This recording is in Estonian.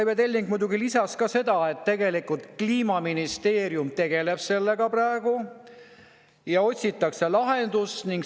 Aive Telling muidugi lisas, et Kliimaministeerium praegu tegeleb sellega ja otsitakse lahendust.